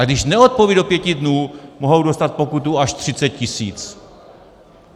A když neodpoví do pěti dnů, mohou dostat pokutu až 30 tisíc.